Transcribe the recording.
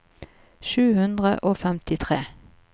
sju hundre og femtitre